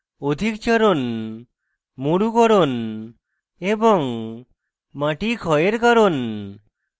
অধিক চারণ মরুকরণ এবং মাটি ক্ষয়ের কারণ